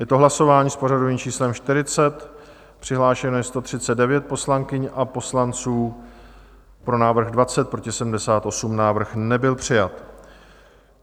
Je to hlasování s pořadovým číslem 40, přihlášeno je 139 poslankyň a poslanců, pro návrh 20, proti 78, návrh nebyl přijat.